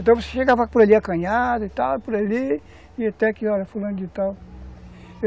Então você chegava por ali acanhada e tal, por ali, e até que, olha, fulano de tal.